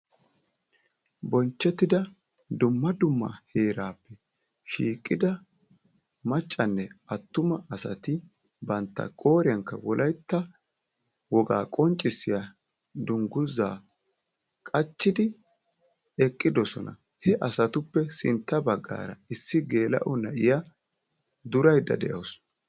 Bonchchettida dumma dumma heerap shiiqida maccanne attuma asati bantta qooriyankka wolaytta wogaa qonccissiya dungguzaa qachchidi eqqidosona. He asatuppe sintta baggaara issi geela'o na'iya duraydda de'awusu.